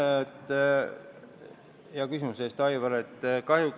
Aitäh hea küsimuse eest, Aivar!